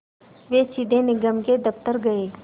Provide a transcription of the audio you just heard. वे सीधे निगम के दफ़्तर गए